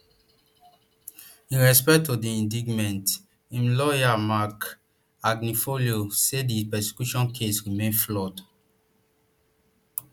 in response to di indictment im lawyer marc agnifilo say di prosecution case remain flawed